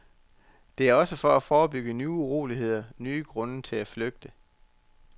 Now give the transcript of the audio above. Det er også for at forebygge nye uroligheder, nye grunde til at flygte.